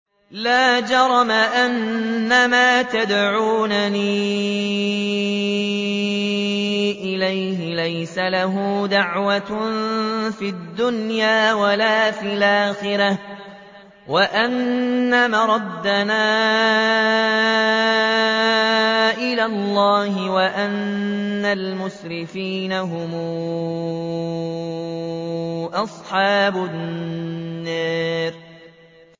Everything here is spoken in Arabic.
لَا جَرَمَ أَنَّمَا تَدْعُونَنِي إِلَيْهِ لَيْسَ لَهُ دَعْوَةٌ فِي الدُّنْيَا وَلَا فِي الْآخِرَةِ وَأَنَّ مَرَدَّنَا إِلَى اللَّهِ وَأَنَّ الْمُسْرِفِينَ هُمْ أَصْحَابُ النَّارِ